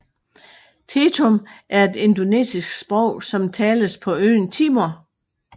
Tetum er et indonesisk sprog som tales på øen Timor